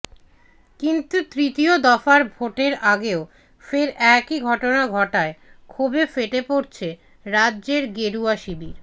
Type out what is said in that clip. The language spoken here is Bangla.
কিন্তু তৃতীয় দফার ভোটের আগেও ফের একই ঘটনা ঘটায় ক্ষোভে ফেটে পড়ছে রাজ্যের গেরুয়া শিবির